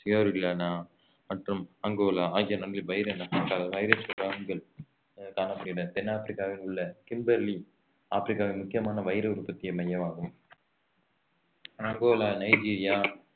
மற்றும் அங்கோலா ஆகிய நாடுகளில் வைர ந~ வைர சுரங்கங்கள் காணப்படுகின்றன தென் ஆப்பிரிக்காவில் உள்ள கிம்பர்லி ஆப்பிரிக்காவின் முக்கியமான வைர உற்பத்திய மையமாகும் அங்கோலா நைஜீரியா